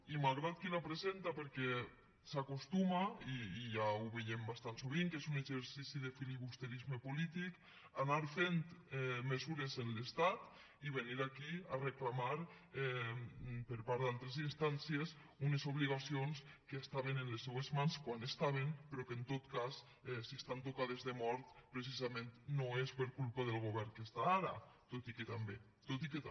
i malgrat qui la presenta perquè s’acostuma i ja veiem bastant sovint que és un exercici de filibusterisme polític a anar fent mesures amb l’estat i venir aquí a reclamar per part d’altres instàncies unes obligacions que estaven en les seues mans quan hi eren però que en tot cas si estan tocades de mort precisament no és per culpa del govern que hi ha ara tot i que també tot i que també